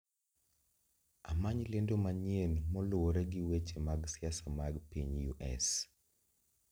Amany lendo manyien moluwore gi weche mag siasa mag piny u.s